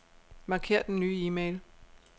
Marker den nye e-mail.